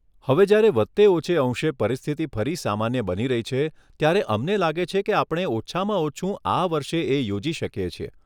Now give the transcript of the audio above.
હવે જયારે વધતે ઓછે અંશે પરિસ્થિતિ ફરી સામાન્ય બની રહી છે, ત્યારે અમને લાગે છે કે આપણે ઓછામાં ઓછું આ વર્ષે એ યોજી શકીએ છીએ.